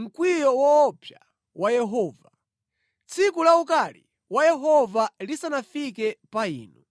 mkwiyo woopsa wa Yehova, tsiku la ukali wa Yehova lisanafike pa inu.